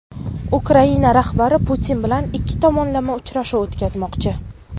Ukraina rahbari Putin bilan ikki tomonlama uchrashuv o‘tkazmoqchi.